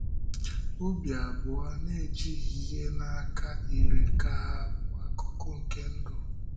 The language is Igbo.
Ọ̀bì abụọ na-ejighị ihe n’aka yiri ka hà bụ akụkụ nke ndụ.